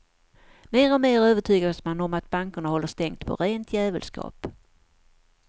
Mer och mer övertygas man om att bankerna håller stängt på rent djävulskap.